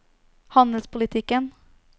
handelspolitikken